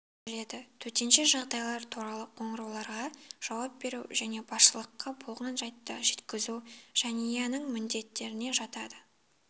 келеді төтенше жағдайлар туралы қоңырауларға жауап беру және басшылыққа болған жайттарды жеткізу жәниянің міндеттеріне жатады